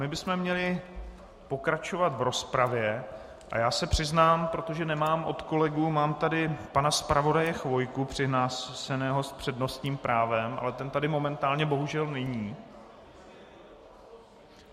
My bychom měli pokračovat v rozpravě a já se přiznám, protože nemám od kolegů - mám tady pana zpravodaje Chvojku přihlášeného s přednostním právem, ale ten tady momentálně bohužel není.